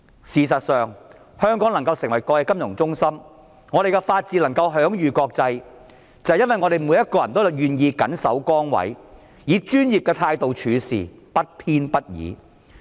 事實上，香港能夠成為國際金融中心，我們的法治能夠享譽國際，是因為每一個人均願意緊守崗位，以專業的態度處事，不偏不倚。